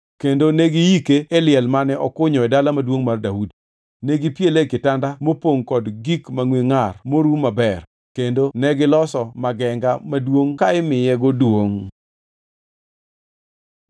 kendo negi yike e liel mane okunyo e Dala Maduongʼ mar Daudi. Negipiele e kitanda mopongʼ kod gik mangʼwe ngʼar moruw maber kendo negiloso magenga maduongʼ ka imiyego duongʼ.